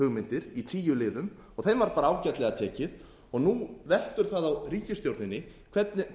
þjóðarsáttarhugmyndir í tíu liðum og þeim var ágætlega tekið nú veltur það á ríkisstjórninni hvernig